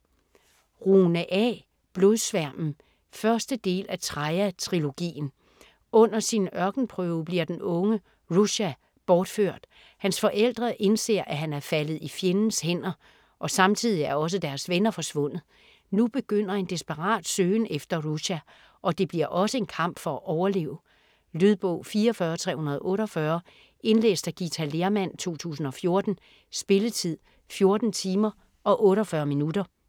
Rune, A.: Blodsværmen 1. del af Traia trilogien. Under sin ørkenprøve bliver den unge Rusha borført. Hans forældre indser, at han er faldet i fjendens hænder, og samtidigt er også deres venner forsvundet. Nu begynder en desperat søgen efter Rusha, og det bliver også en kamp for at overleve. Lydbog 44348 Indlæst af Githa Lehrmann, 2014. Spilletid: 14 timer, 48 minutter.